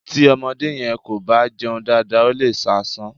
Tí ọmọdé yẹn kò bá jẹun dáadáa ó lè ṣàìsàn.